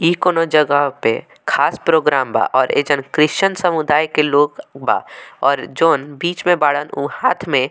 इ कोनो जगह पे खास प्रोग्राम बा और एजन क्रिश्चियन समुदाय के लोग बा और जॉन बीच में बारन उ हाथ में --